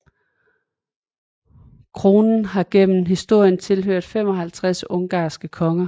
Kronen har gennem historien tilhørt 55 ungarske konger